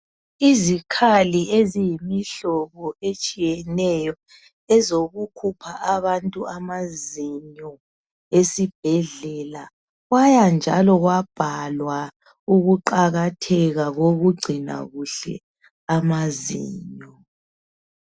Izikhali eziyimihlobo etshiyeneyo ezokukhupha abantu amazinyo esibhedlela kwaya njalo kwabhalwa ukuqakatheka kokugcina kuhle amazinyo.